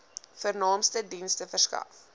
vernaamste dienste verskaf